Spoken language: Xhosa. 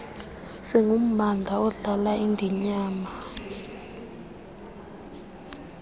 singummandla odlala indinyana